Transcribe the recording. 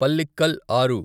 పల్లిక్కల్ ఆరు